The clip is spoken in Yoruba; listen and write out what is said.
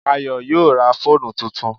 Ayọ̀ yóò ra fóònù tuntun